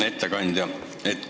Hea ettekandja!